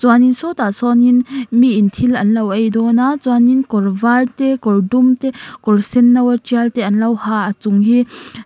chuanin sawtah sawnin niin thil an lo ei dâwn a chuanin kawr var te kawr dum te kawr senno a tial te an lo ha a chung hi.